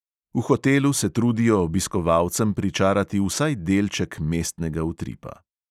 V hotelu se trudijo obiskovalcem pričarati vsaj delček mestnega utripa.